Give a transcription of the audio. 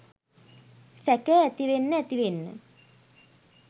සැකය ඇතිවෙන්න ඇතිවෙන්න